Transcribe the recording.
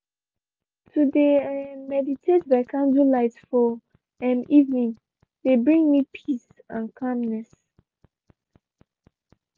to de um meditate by candlelight for um evening de bring me peace and calmness.